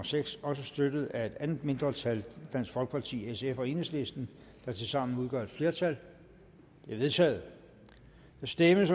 seks også støttet af et andet mindretal dansk folkeparti sf og enhedslisten der tilsammen udgør et flertal det er vedtaget der stemmes